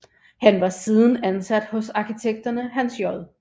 Han var siden ansat hos arkitekterne Hans J